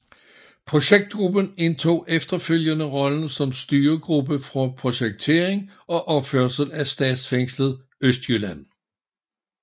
Projektgruppen indtog efterfølgende rollen som styregruppe for projektering og opførsel af Statsfængslet Østjylland